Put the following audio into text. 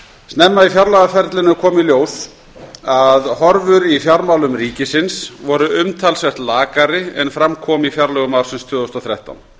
snemma í fjárlagaferlinu kom í ljós að horfur í fjármálum ríkisins voru umtalsvert lakari en fram kom í fjárlögum ársins tvö þúsund og þrettán